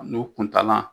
N'o kuntala